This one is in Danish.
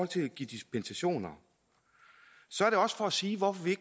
til at give dispensationer så er det også for at sige hvorfor vi